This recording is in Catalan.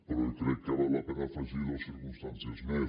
però crec que val la pena afegir hi dues circumstàncies més